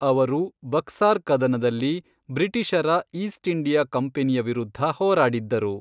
ಅವರು ಬಕ್ಸಾರ್ ಕದನದಲ್ಲಿ ಬ್ರಿಟಿಷರ ಈಸ್ಟ್ ಇಂಡಿಯಾ ಕಂಪನಿಯ ವಿರುದ್ಧ ಹೋರಾಡಿದ್ದರು.